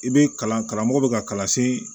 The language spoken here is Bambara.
I bɛ kalan karamɔgɔ bɛ ka kalan se